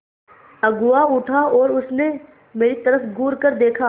अगुआ उठा और उसने मेरी तरफ़ घूरकर देखा